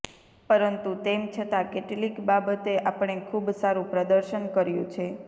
પરંતુ તેમ છતા કેટલીક બાબતે આપણે ખૂબ સારુ પ્રદર્શન કર્યું છે